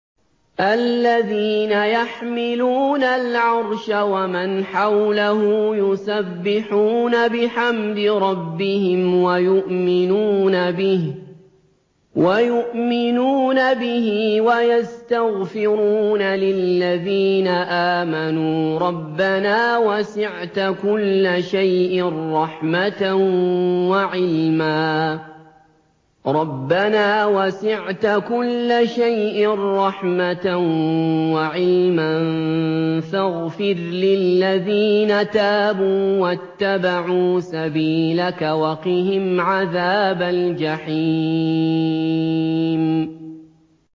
الَّذِينَ يَحْمِلُونَ الْعَرْشَ وَمَنْ حَوْلَهُ يُسَبِّحُونَ بِحَمْدِ رَبِّهِمْ وَيُؤْمِنُونَ بِهِ وَيَسْتَغْفِرُونَ لِلَّذِينَ آمَنُوا رَبَّنَا وَسِعْتَ كُلَّ شَيْءٍ رَّحْمَةً وَعِلْمًا فَاغْفِرْ لِلَّذِينَ تَابُوا وَاتَّبَعُوا سَبِيلَكَ وَقِهِمْ عَذَابَ الْجَحِيمِ